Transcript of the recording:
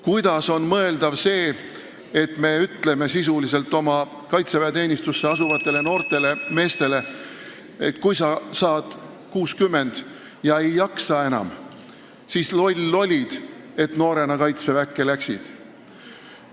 Kuidas on mõeldav see, et me ütleme kaitseväeteenistusse asuvatele noortele meestele sisuliselt seda, et kui sa saad 60 ja ei jaksa enam, siis loll olid, et noorena kaitseväkke läksid?